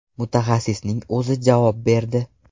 Mutaxassisning o‘zi javob berdi.